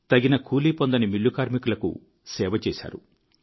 తగిన కూలీ పొందని మిల్లు కార్మికులకు సేవ చేశారు